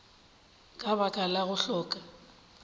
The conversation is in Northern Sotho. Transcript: ka baka la go hloka